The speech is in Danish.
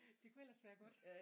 Det kunne ellers være godt